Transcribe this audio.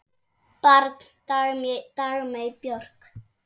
Barn Dagmey Björk.